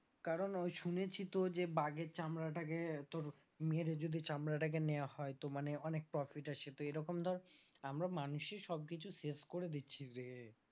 কারণ ওই শুনেছি তো যে বাঘের চামড়া টাকে তোর মেরে যদি চামড়া টাকে নেওয়া হয় তো মানে অনেক profit আসে তো এরকম তো আমরা মানুষেই সব কিছু শেষ করে দিচ্ছি রে।